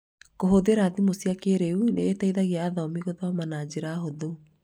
kũhũthĩra thimũ cia kĩĩrĩu nĩ iteithagia athomi gũthoma na njĩra hũthũ.